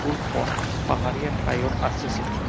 স্কুলখন পাহাৰীয়া ঠায়ত আছে চাগে।